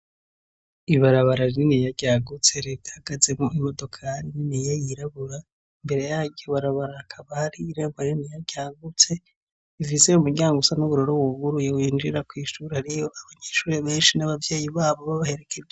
Ibarabara rininiya ryagutse rihagazemo imodoka niniye yirabura imbere yaryo barabara kabari irembo riniya ryagutse ivizeye umuryango usa n'uburoro wuguruye winjira ku ishuri ariy,'abanyeshuri benshi n'abavyeyi babo babaherekeze.